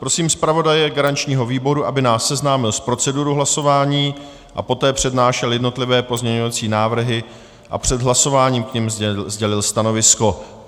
Prosím zpravodaje garančního výboru, aby nás seznámil s procedurou hlasování a poté přednášel jednotlivé pozměňovací návrhy a před hlasováním k nim sdělil stanovisko.